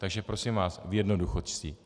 Takže prosím vás v jednoduchosti.